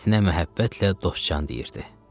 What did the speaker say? İtinə məhəbbətlə Dostcan deyirdi.